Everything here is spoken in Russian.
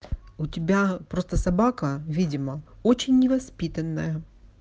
у тебя просто собака видимо очень невоспитанная